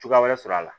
Cogoya wɛrɛ sɔrɔ a la